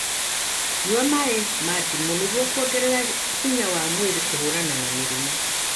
nyua maĩ ma ndimũ nĩguo kuogerera hinya wa mwĩrĩ kũhũrana na mĩrimũ.